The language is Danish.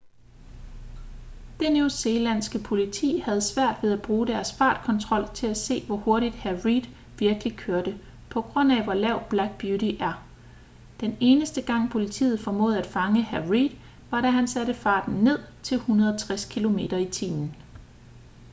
det newzealandske politi havde svært ved at bruge deres fartkontrol til at se hvor hurtigt hr. reid virkelig kørte på grund af hvor lav black beauty er. den eneste gang politiet formåede at fange hr. reid var da han satte farten ned til 160 km/t